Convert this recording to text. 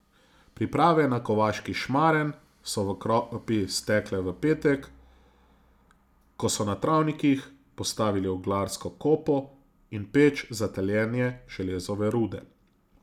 Priprave na Kovaški šmaren so v Kropi stekle v petek, ko so na travnikih postavili oglarsko kopo in peč za taljenje železove rude.